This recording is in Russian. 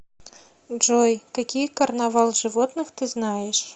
джой какие карнавал животных ты знаешь